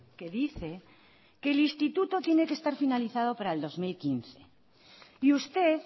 que dice que el instituto tiene que estar finalizado para el dos mil quince y usted